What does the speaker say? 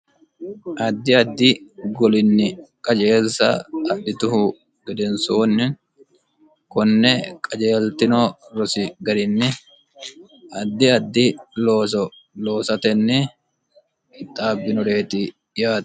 addi addi golinni qajeelsa adhituhu gedensoonni konne qajeeltino rosi garinni addi addi looso loosatenni qixaabbinoreeti yaati